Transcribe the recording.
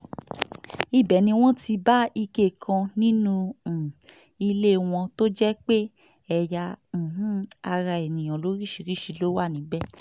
ibẹ̀ ni wọ́n ti bá ike kan nínú um ilé wọn tó jẹ́ pé ẹ̀yà um ara èèyàn lóríṣìíríṣìí ló wà níbẹ̀